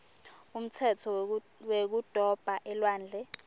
umtsetfo wekudoba elwandle